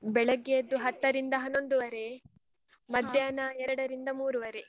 ಬೆಳಗ್ಗೆಯದ್ದು ಹತ್ತರಿಂದ ಹನ್ನೊಂದುವರೆ, ಮಧ್ಯಾಹ್ನ ಎರಡರಿಂದ ಮೂರುವರೆ.